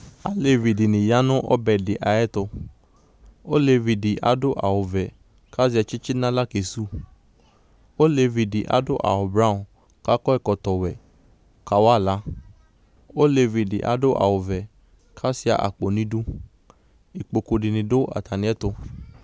Alevidɩnɩ ya nʋ ɔbɛdɩ ayɛtʋ , olevidɩ adʋ awʋvɛ k'azɛ tsitsi n'aɣla kesuwu Olevidɩ adʋ awʋblɔ k'akɔ ɛkɔtɔwɛ kawa aɣla ; olevidɩ adʋ awʋvɛ k'asʋɩa akpo n'idu ikpokudɩnɩ dʋ atamɩɛtʋ